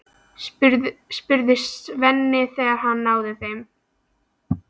spurði Svenni, þegar hann náði þeim.